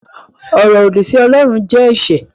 Ọ̀rọ̀ òdì sí Ọlọ́run jẹ́ ẹ̀ṣẹ̀